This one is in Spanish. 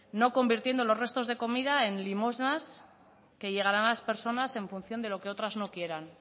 no convirtiendo los restos de comida en limosnas que llegarán a las personas en función de lo que otras no quieran